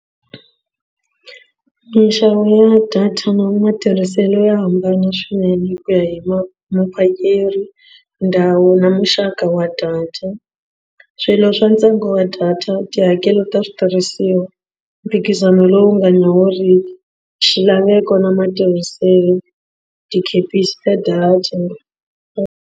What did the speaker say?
Minxavo ya data na matirhiselo ya hambana swinene hi ku ya hi ma muphakeri ndhawu na muxaka wa data swilo swa ntsengo wa data tihakelo ta switirhisiwa mphikizano lowu nga nyawuriki xilaveko na matirhiselo tikepisi ta data.